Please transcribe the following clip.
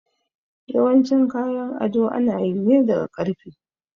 Yawancin kayan ado ana yi ne daga ƙarfe